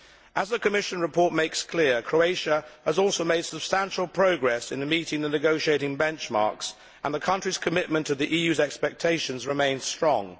As the Commission report makes clear, Croatia has also made some substantial progress in meeting the negotiating benchmarks, and the country's commitment to the EU's expectations remains strong.